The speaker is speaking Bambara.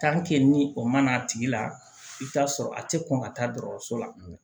ni o ma na a tigi la i bi taa sɔrɔ a ti kɔn ka taa dɔkɔtɔrɔso la